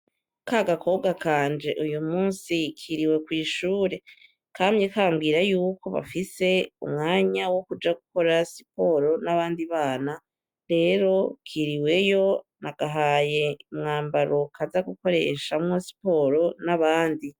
Kagakobwa kanje uyu musi kiriwe kw'ishure, kamye kabwire yuko bafise umwanya wo kuja gukora siporo n'abandi bana, rero kiriweyo, nagahaye umwambaro kaza gukoresha muri siporo n'abandi.